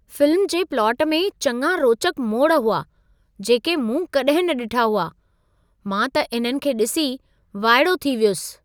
Film जे plot में चङा रोचक मोड़ हुआ, जेके मूं कॾहिं न ॾिठा हुआ। मां त इन्हनि खे ॾिसी वाइड़ो थी वियसि।